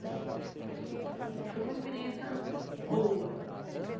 Né e foi uma experiência boa.